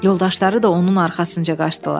Yoldaşları da onun arxasınca qaçdılar.